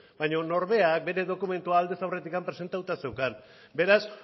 baina norberak bere dokumentua aldez aurretik presentatuta zeukan beraz